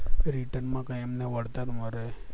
return માં કઈ એમને વળતર મળે